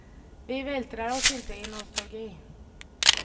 Vi vältrar oss inte i nostalgi.